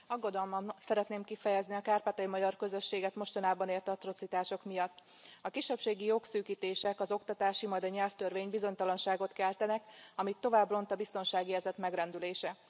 Tisztelt Elnök Úr! Aggodalmam szeretném kifejezni a kárpátaljai magyar közösséget mostanában ért atrocitások miatt. A kisebbségi jogszűkítések, az oktatási, majd a nyelvtörvény bizonytalanságot keltenek, amit tovább ront a biztonságérzet megrendülése.